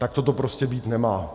Takto to prostě být nemá.